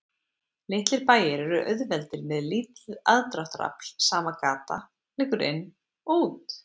Litlir bæir eru auðveldir með lítið aðdráttarafl, sama gata liggur inn og út.